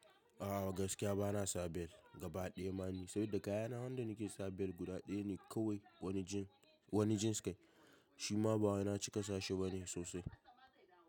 A'a gaskiya bana sa belt, gaba ɗaya ma ne, saboda kayana hannan da nake sa belt guda ɗaya ne kawai wani jeans kai, shi ma ba wai na cika sashi ba ne sosai.